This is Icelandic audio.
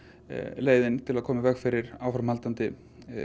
leiðin til að koma í veg fyrir áframhaldandi